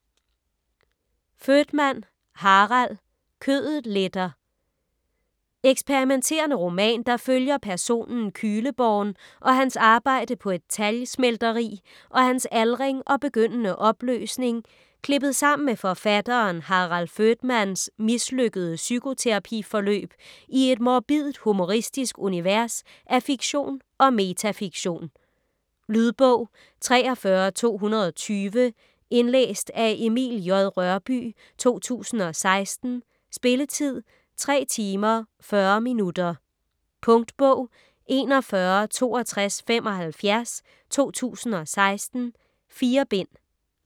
Voetmann, Harald: Kødet letter Eksperimenterende roman, der følger personen Kühleborn og hans arbejde på et talgsmelteri og hans aldring og begyndende opløsning klippet sammen med forfatteren Harald Voetmanns mislykkede psykoterapi-forløb i et morbidt-humoristisk univers af fiktion og metafiktion. Lydbog 43220 Indlæst af Emil J. Rørbye, 2016. Spilletid: 3 timer, 40 minutter. Punktbog 416275 2016. 4 bind.